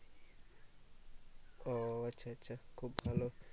ও আচ্ছা আচ্ছা খুব ভালো